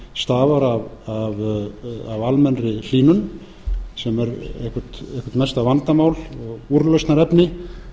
stafar af almennri hlýnun sem er eitthvað mesta vandamál og úrlausnarefni